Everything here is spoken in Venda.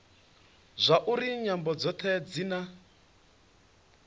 zwauri nyambo dzothe dzi na